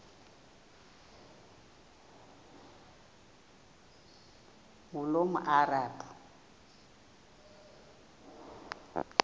ngulomarabu